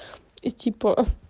и типа